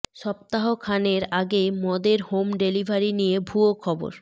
সপ্তাহ খানের আগে মদের হোম ডেলিভারি নিয়ে ভুয়ো খবর